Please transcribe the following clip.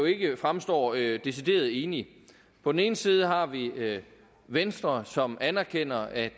ikke fremstår decideret enige på den ene side har vi vi venstre som anerkender at